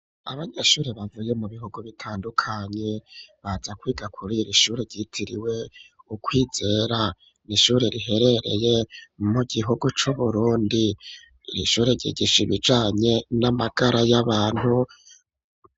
Abanyeshuri bavuye mu bihugu bitandukanye baza kwiga kubera ishure ryitiriwe ukwizera n'ishure riherereye mu gihugu c'uburundi ishure ryigisha ibijanye n'amagara y'abantu.